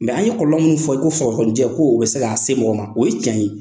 Mɛ an ye kɔlɔlɔ min fɔ i ko sɔgɔsɔgɔnijɛ ko o bɛ se k'a se mɔgɔ ma, o ye tiɲɛ ye.